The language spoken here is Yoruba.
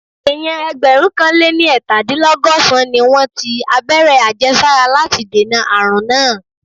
Èèyàn ẹgbẹ̀rúnkanléniẹ́tàdínlọ́gọ̀sán-án ni wọ́n ti abẹ́rẹ́ àjẹsára láti dènà àrùn náà